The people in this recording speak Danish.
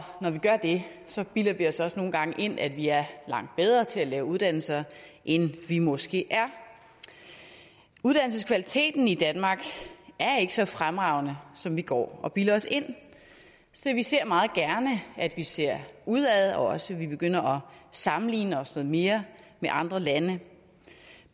når vi gør det så bilder vi os også nogle gange ind at vi er langt bedre til at lave uddannelser end vi måske er uddannelseskvaliteten i danmark er ikke så fremragende som vi går og bilder os ind så vi ser meget gerne at vi ser udad og også at vi begynder at sammenligne os noget mere med andre lande